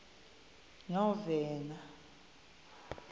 novena